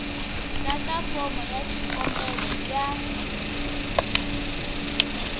tata fomo ya xikombelo ya